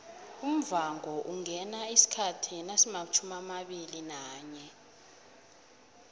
umvhangoungena isikhathi nasimatjhumiamabili nanye